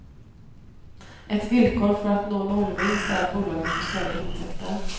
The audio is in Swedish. Ett villkor för att nå nollvinst är att bolaget får större intäkter.